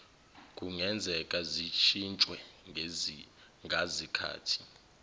kungenzeka zishintshwe ngazikhathi